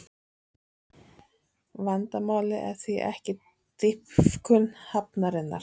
Vandamálið er því ekki dýpkun hafnarinnar